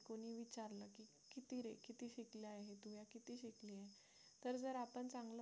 तर जर आपण चांगला